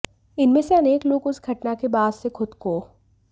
इनमें से अनेक लोग उस घटना के बाद से खुद को